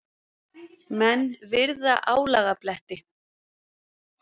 Menn virða álagabletti.